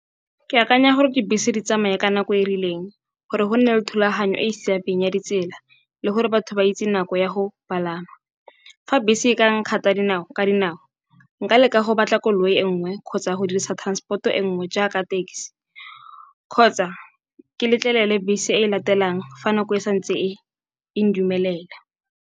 Ke akanya gore dibese di tsamaye ka nako e rileng gore go nne le thulaganyo e e siameng ya ditsela le gore batho ba itse nako ya go palama. Fa bese e ka nkgatha ka dinao nka leka go batla koloi e nngwe kgotsa go dirisa transport-o e nngwe jaaka taxi kgotsa ke letlelele bese e latelang fa nako e santse e ndumelela.